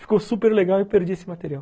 Ficou super legal e eu perdi esse material.